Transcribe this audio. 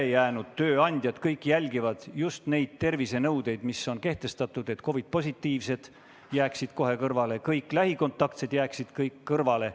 Kõik ülejäänud tööandjad jälgivad just neid tervisenõudeid, mis on kehtestatud: COVID-positiivsed jäägu kohe kõrvale, kõik lähikontaktsed jäägu kõrvale.